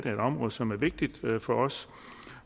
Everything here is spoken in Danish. et område som er vigtigt for os